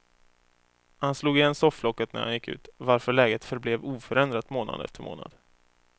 Han slog igen sofflocket när han gick ut, varför läget förblev oförändrat månad efter månad.